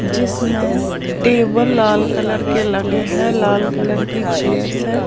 जिसमें टेबल लाल कलर के लगे हैं लाल कलर की चेयर्स है।